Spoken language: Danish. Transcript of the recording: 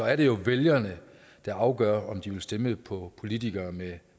er det jo vælgerne der afgør om de vil stemme på politikere med